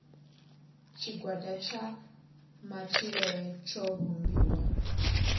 tshigwada tsha matshilele tsho vhumbiwa